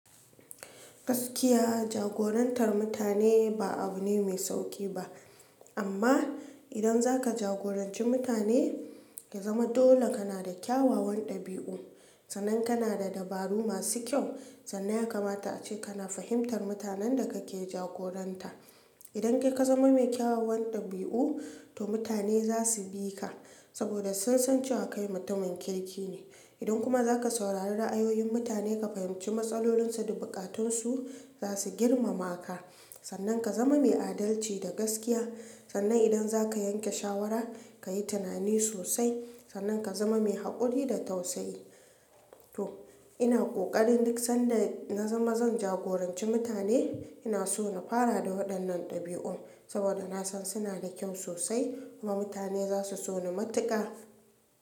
Gaskiya jagorantar mutane ba abu ne mai sauƙi ba. Amma idan zaka jagoranci mutane, ka zama dole kana da kyawawan dabi'u. Sannan kana da dabaru masu kyau, sannan ya kamata ace kana fahimtar mutanen da kake jagoranta. Idan kai ka zama mai kyawawan ɗabi'u, to mutane za su bi ka, saboda sun san cewa kai mutumin kirki ne. Idan kuma zaka saurari ra'ayoyin mutane, ka fahimci matsalolinsu da buƙatunsu, za su girmama ka. Sannan ka zama mai adalci da gaskiya. Sannan idan zaka yanke shawara, ka yi tunani sosai. Sannan ka zama mai haƙuri da tausayi. To ina ƙoƙarin duk sanda na zama zan jagoranci mutane, ina so na fara da waɗannan ɗabi'un, saboda na san suna da kyau sosai kuma mutane za su so ni matuƙa.